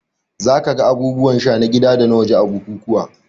Za ka ga abubuwan sha na gida da waje a bukukuwa